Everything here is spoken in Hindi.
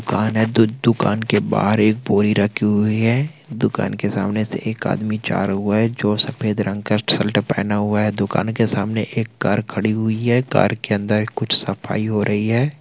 दुकान है दु-दुकान के बाहर एक बोरी रखी हुई है दुकान के सामने से एक आदमी जा रहा है जो सफ़ेद रंग का शर्ट पहना हुआ है दुकान के सामने एक कार खड़ी हुई है कार के अंदर कुछ सफाई हो रही है।